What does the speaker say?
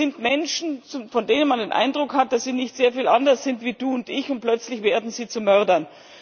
Es sind Menschen, von denen man den Eindruck hat, dass sie nicht sehr viel anders sind als du und ich, und plötzlich werden sie zu Mördern.